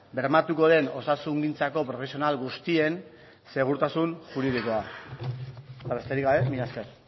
bermatuko den osasungintzako profesional guztien segurtasun juridikoa eta besterik gabe mila esker